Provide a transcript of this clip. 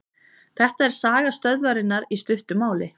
Þetta er saga stöðvarinnar í stuttu máli.